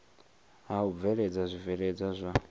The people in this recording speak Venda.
ha u bveledza zwibveledzwa zwa